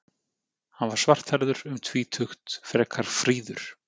Hann var svarthærður, um tvítugt, frekar fríður.